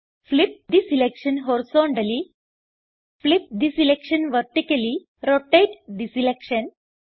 flip the selection horizontally flip the selection vertically rotate the selection